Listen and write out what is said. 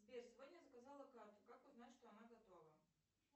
сбер сегодня заказала карту как узнать что она готова